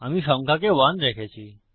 আমি সংখ্যাকে 1 রেখেছি